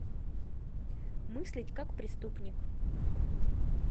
мыслить как преступник